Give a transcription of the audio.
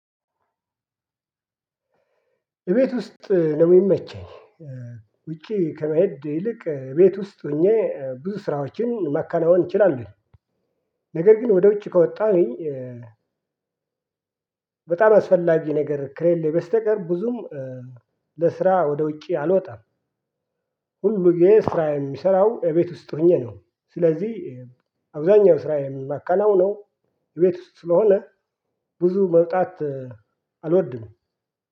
እቤት ውስጥ ነው ሚመቸኝ ውጪ ከመሄድ ይልቅ ቤት ውስጥ ሆኜ ብዙ ስራዎችን ማካናወን እንችላለን ነገር ግን ወደ ውጭ ከወጣሁኝ በጣም አስፈላጊ ነገር ከሌለ በስተቀር ብዙም ለስራ ወደ ውጭ አልወጣም። ሁልጊዜ ስራየን ምሠራው እቤት ውስጥ ሁኘ ነው ስለዚህ አብዛኛው ስራ የማከናውነው ቤት ውስጥ ስለሆነ ብዙ መውጣት አልወድም።